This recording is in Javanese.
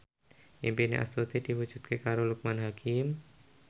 impine Astuti diwujudke karo Loekman Hakim